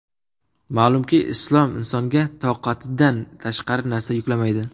Ma’lumki, Islom insonga toqatidan tashqari narsani yuklamaydi.